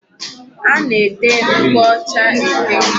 A na-ete nkwụ ọcha ete.